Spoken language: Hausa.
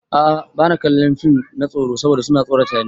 A'a bani kallon fim na tsoro saboda su na tsorata ni.